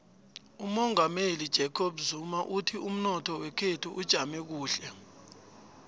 umongameli ujacob zuma uthi umnotho wekhethu ujame kuhle